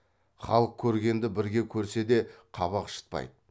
халық көргенді бірге көрсе де қабақ шытпайды